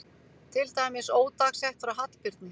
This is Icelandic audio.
Til dæmis ódagsett frá Hallbirni